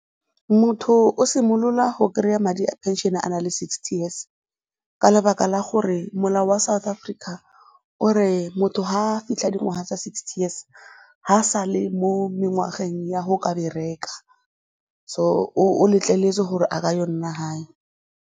Motho o simolola go kry-a madi a pension-e a na le sixty years ka lebaka la gore molao wa South Africa o re motho ga a fitlha dingwaga tsa sixty years ga a sale mo mengwageng ya go ka bereka so o letleletswe gore a ka ya go nna gae.